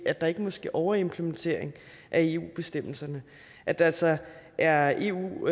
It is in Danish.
at der ikke må ske overimplementering af eu bestemmelserne at der altså er eu